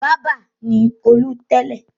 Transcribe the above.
Bábà ni Olú tẹ́lẹ̀.